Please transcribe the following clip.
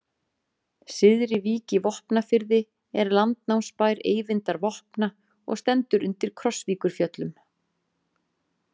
Syðri-Vík í Vopnafirði er landnámsbær Eyvindar vopna og stendur undir Krossvíkurfjöllum.